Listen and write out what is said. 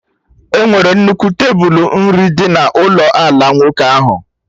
E nwere nnukwu tebulu nri dị na ụlọ ala nwoke ahụ